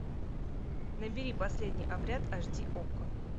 набери последний обряд аш ди окко